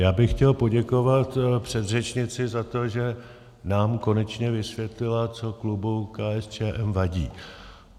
Já bych chtěl poděkovat předřečnici za to, že nám konečně vysvětlila, co klubu KSČM vadí.